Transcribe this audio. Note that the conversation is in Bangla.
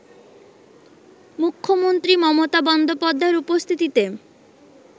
মুখ্যমন্ত্রী মমতা বন্দ্যোপাধ্যায়ের উপস্থিতিতে